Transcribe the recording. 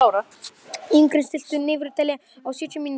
Ingrún, stilltu niðurteljara á sjötíu mínútur.